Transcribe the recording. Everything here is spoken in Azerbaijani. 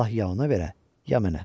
Allah ya ona verə, ya mənə.